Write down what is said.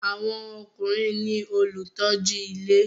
Àwọn ọkùnrin ní olùtọ́jú ilé